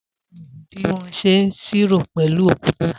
Sola ò mọ bi wọn sẹ ìṣiró pẹlu òkútà.